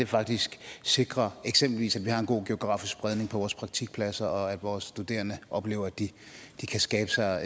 faktisk sikrer at eksempelvis har en god geografisk spredning på vores praktikpladser og at vores studerende oplever at de kan skabe sig